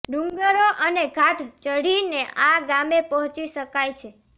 ડુંગરો અને ઘાટ ચઢીને આ ગામે પહોંચી શકાય છે